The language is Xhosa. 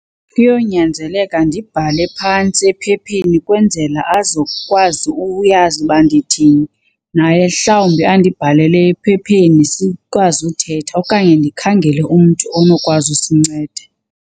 Kuyonyanzeleka ndibhale phantsi ephepheni kwenzela azokwazi uyazi uba ndithini, naye mhlawumbi andibhalele ephepheni sikwazi uthetha. Okanye ndikhangele umntu onokwazi usinceda.